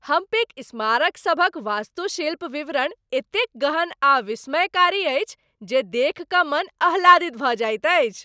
हम्पीक स्मारकसभक वास्तुशिल्प विवरण एतेक गहन आ विस्मयकारी अछि जे देखि कऽ मन आह्लादित भऽ जाइत अछि।